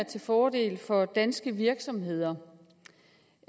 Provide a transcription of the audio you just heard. til fordel for danske virksomheder